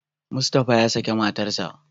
Mustapha ya saki matarsa.